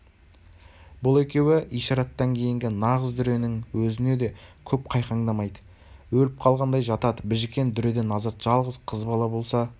бұл екеуі ишараттан кейінгі нағыз дүренің өзіне де көп қайқаңдамайды өліп қалғандай жатады біжікен дүреден азат жалғыз қыз бала болса